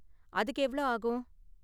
அதுக்கு எவ்ளோ ஆகும்?